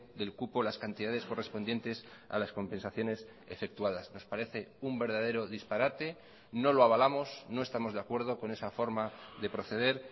del cupo las cantidades correspondientes a las compensaciones efectuadas nos parece un verdadero disparate no lo avalamos no estamos de acuerdo con esa forma de proceder